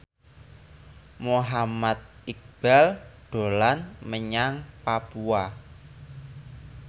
Muhammad Iqbal dolan menyang Papua